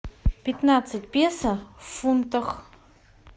пятнадцать песо в фунтах